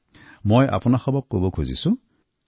তাক মই দেশবাসীৰ সৈতে শ্বেয়াৰ কৰিব খুজিছো